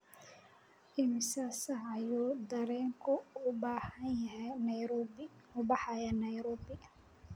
imisa saac ayuu tareenku u baxayaa nairobi